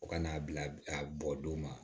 U ka n'a bila a bɔ don ma